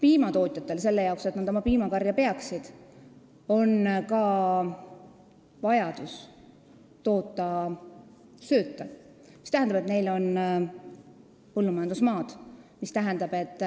Piimatootjatel on selle jaoks, et nad piimakarja saaksid pidada, vaja ka sööta toota, see tähendab, et neil on põllumajandusmaad, ja see tähendab, et